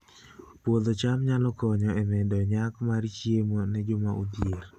Puodho cham nyalo konyo e medo nyak mar chiemo ne joma odhier